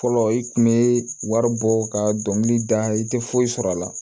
Fɔlɔ i kun be wari bɔ ka dɔnkili da i te foyi sɔrɔ a la